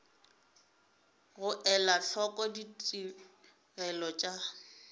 go ela hloko ditigelo tša